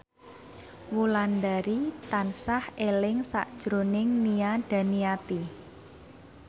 Wulandari tansah eling sakjroning Nia Daniati